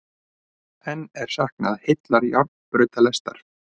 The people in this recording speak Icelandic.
Enn er saknað heillar járnbrautalestar